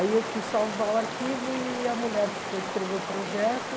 Aí eu quis salvar o arquivo e a mulher que foi escrever o projeto...